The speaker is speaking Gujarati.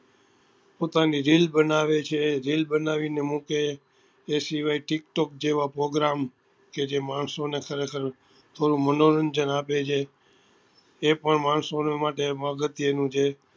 પોતાની reel બનાવે છે reel બનાવી ને મુકે એ સિવાય tik tock જેવા program કે જે માણસો ને ખરેખર મનોરંજન આપે છે એ પણ માણસો ને માટે અગત્ય નું છે